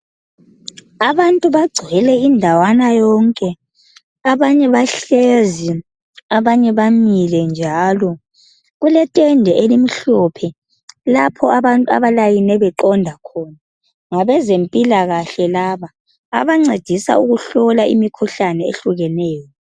Abantu bagcwele indawana yonke abanye bahlezi abanye bamile. kuletende elimhlophe lapho abantu abalayine beqonda khona. Ngabezempilakahle laba abancedisa ukuhlola imikhuhlane ehlukeneyo.